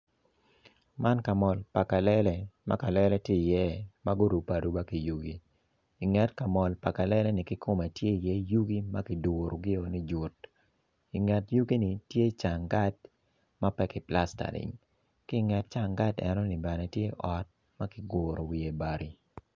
Man ka mol pa kalele ma kalele tye iye ma gurube aruba ki yugi inget ka mol pa kaleleni tye iye yugi ma kiduogi ni jut inget yugini tye canggat ma pe kiplastering ki inget canggat enoni bene tye ot ma kiguro wiye bati.